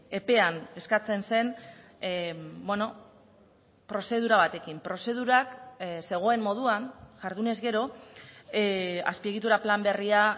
epean eskatzen zen prozedura batekin prozedurak zegoen moduan jardunez gero azpiegitura plan berria